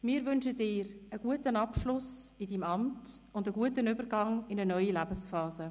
Wir wünschen dir einen guten Abschluss in deinem Amt und einen guten Übergang in eine neue Lebensphase.